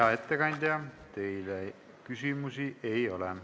Hea ettekandja, teile küsimusi ei ole.